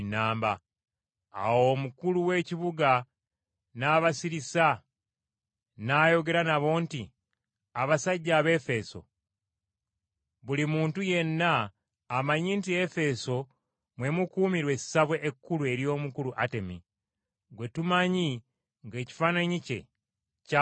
Awo omukulu w’ekibuga n’abasirisa n’ayogera nabo nti, “Abasajja Abaefeso, buli muntu yenna amanyi nti Efeso mwe mukuumirwa essabo ekkulu ery’omukulu Atemi, gwe tumanyi ng’ekifaananyi ekyava mu ggulu.